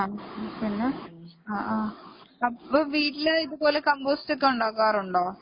ആ പിന്നെ അപ്പൊ വീട്ടില് ഇതുപോലെ കമ്പോസ്റ്റ് ഒക്കെ ഉണ്ടാക്കാറുണ്ടോ